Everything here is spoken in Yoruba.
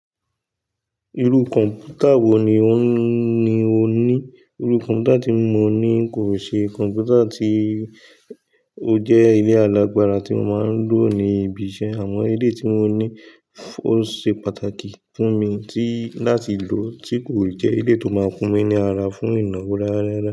Irú kọ̀ǹpútà wo ni o ní? Irú kọ̀ǹpútà tí mo ní kò ń ṣe kọ̀ǹpútà tí ó jẹ́ ilé alágbára tí mo máa ń lò ní ibi iṣẹ́. Àwọn eléyìí tí mo ní ó ṣe pàtàkì fún mi tí láti lò tí kò eléyìí tó máa fun mí ní ara fún ìnáwó rárá.